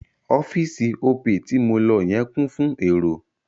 Ọ́fíì̀sì Opay ti mo lọ yẹn kún fún èrò..